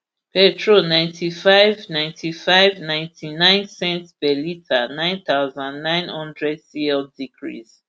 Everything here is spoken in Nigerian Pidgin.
petrol ninety-five ulp ninety-five ulp lrp ninetynine cents per litre nine thousand, nine hundred cl decrease